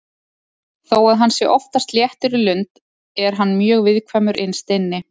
Þó að hann sé oftast léttur í lund er hann mjög viðkvæmur innst inni.